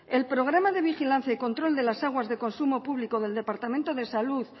el programa de vigilancia y control de las aguas de consumo público del departamento de salud